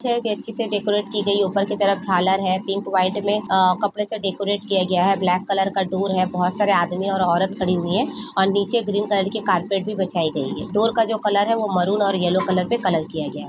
अच्छे से डेकोरेट की गइ है ऊपर की तरफ झालर है पिंक वाईट में कपड़े से डेकोरेट किया गया है ब्लेक कलर का डोर है बहुत आदमी और औरत खड़ी हुई है और नीचे ग्रीन कलर के कारपेट भी बिछाई गई है डोर का जो कलर है वो मरून और यल्लो कलर किया गया है।